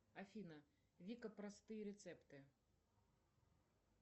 афина вика простые рецепты